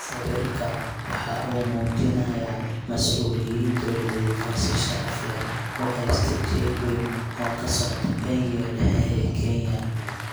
Sawirka waxa uu muujinayaa mas'uuliyiin dawladeed oo si sharaf leh u haysta jeeg weyn oo ka socda Bangiga Dhexe ee Kenya.